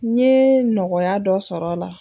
N ye nɔgɔya dɔ sɔrɔ a la.